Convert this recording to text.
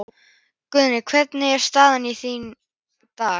Guðný: Hvernig er staðan þín í dag?